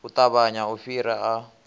u ṱavhanya u fhira a